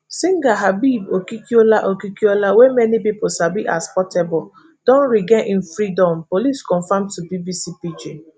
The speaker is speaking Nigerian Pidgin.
singer habeeb okikiola okikiola wey mani pipo sabi as portable don regain im freedom, police confam to bbc pidgin